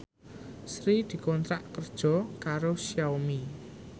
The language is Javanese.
Sri dikontrak kerja karo Xiaomi